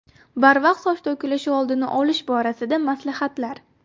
Barvaqt soch to‘kilishi oldini olish borasida maslahatlar.